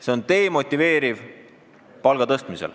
See demotiveerib palga tõstmist.